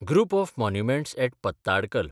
group of monuments at Pattadakal